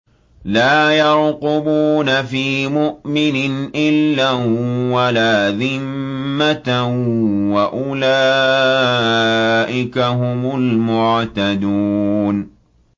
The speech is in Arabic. لَا يَرْقُبُونَ فِي مُؤْمِنٍ إِلًّا وَلَا ذِمَّةً ۚ وَأُولَٰئِكَ هُمُ الْمُعْتَدُونَ